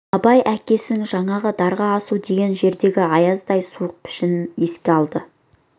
абай әкесінің жаңағы дарға асу деген жердегі аяздай суық пішінін еске алды